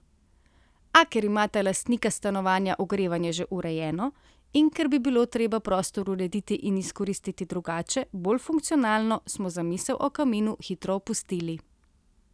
A ker imata lastnika stanovanja ogrevanje že urejeno, in ker bi bilo treba prostor urediti in izkoristiti drugače, bolj funkcionalno, smo zamisel o kaminu hitro opustili.